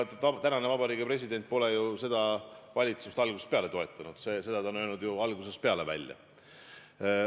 Tänane Vabariigi President pole ju seda valitsust algusest peale toetanud, seda ta on ju algusest peale välja öelnud.